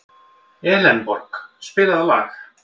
Elenborg, spilaðu lag.